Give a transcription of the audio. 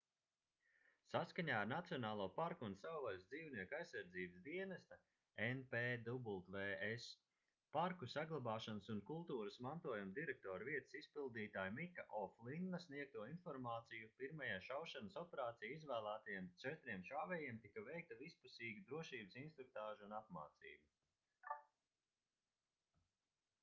saskaņā ar nacionālo parku un savvaļas dzīvnieku aizsardzības dienesta npws parku saglabāšanas un kultūras mantojuma direktora vietas izpildītāja mika o'flinna sniegto informāciju pirmajai šaušanas operācijai izvēlētajiem četriem šāvējiem tika veikta vispusīga drošības instruktāža un apmācība